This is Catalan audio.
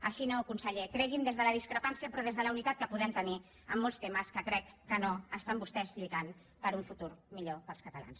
així no conseller cregui’m des de la discrepància però des de la unitat que podem tenir en molts temes que crec que no estan vostès lluitant per un futur millor per als catalans